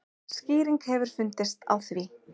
Skýring hefur fundist á því.